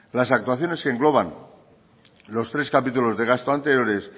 las actuaciones que engloban los tres capítulos de gasto anteriores